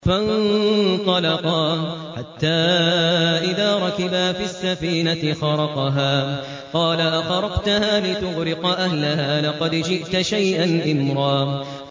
فَانطَلَقَا حَتَّىٰ إِذَا رَكِبَا فِي السَّفِينَةِ خَرَقَهَا ۖ قَالَ أَخَرَقْتَهَا لِتُغْرِقَ أَهْلَهَا لَقَدْ جِئْتَ شَيْئًا إِمْرًا